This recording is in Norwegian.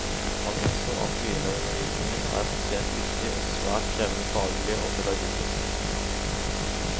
Han innså at begynnerundervisningen er spesielt viktig og svært krevende faglig og pedagogisk.